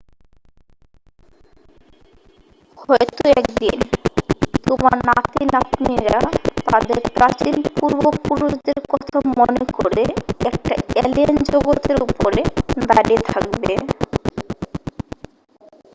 হয়তো একদিন তোমার নাতি-নাতনিরা তাদের প্রাচীন পূর্বপুরুষদের কথা মনে করে একটা অ্যালিয়েন জগৎের উপরে দাঁড়িয়ে থাকবে